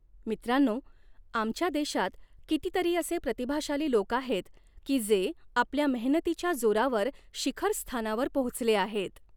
मित्रांनो, आमच्या देशात कितीतरी असे प्रतिभाशाली लोक आहेत, की जे आपल्या मेहनतीच्या जोरावर शिखरस्थानावर पोहचले आहेत.